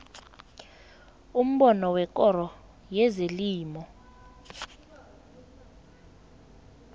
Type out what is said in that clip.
umbono wekoro yezelimo